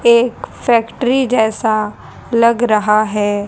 एक फैक्ट्री जैसा लग रहा है।